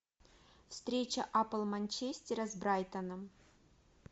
встреча апл манчестера с брайтоном